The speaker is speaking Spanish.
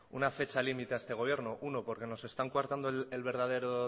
una fecha límite a este gobierno uno porque nos están coartando el verdadero